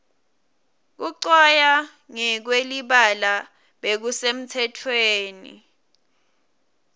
kucwaya ngekwelibala bekusemtsetweni